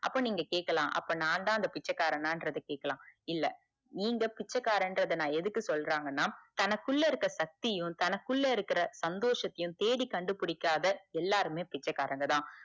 அப்ப நீங்க கேக்கலாம் அப்ப நா தான் அந்த பிச்சைக்காரனா அப்புடின்னு கேக்கலாம் இல்ல நீங்க பிச்சைக்காரன்ங்குறத எதுக்கு சொல்ல்றங்கனா தனக்குள்ள இருக்குற சக்தியும் தனக்குள்ள இருக்குற சந்தோசத்தையும் தேடி கண்டு புடிக்காத எல்லாருமே பிட்சைக்காரங்க தான்